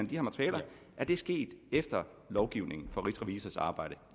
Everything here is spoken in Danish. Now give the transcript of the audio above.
her materiale sket efter lovgivningen for rigsrevisors arbejde